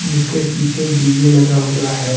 इसके पीछे एक डी_जे लगा हुआ है।